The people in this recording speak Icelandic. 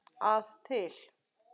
að til.